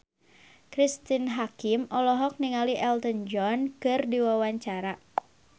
Cristine Hakim olohok ningali Elton John keur diwawancara